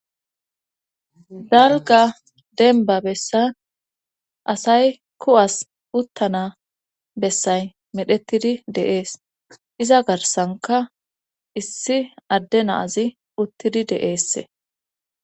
Dalga denba bessa asay ku'as uttana bessay medhettidi deees iza garsanka issi adde naazi uttidi deeesse.